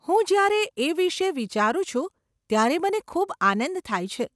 હું જયારે એ વિષે વિચારું છું ત્યારે મને ખૂબ આનંદ થાય છે.